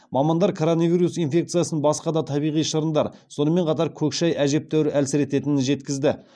мамандар коронавирус инфекциясын басқа да табиғи шырындар сонымен қатар көк шай әжептәуір әлсірететінін жеткізді